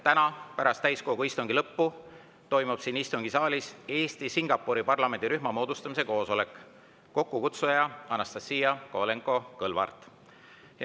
Täna pärast täiskogu istungi lõppu toimub siin istungisaalis Eesti-Singapuri parlamendirühma moodustamise koosolek, kokkukutsuja on Anastassia Kovalenko-Kõlvart.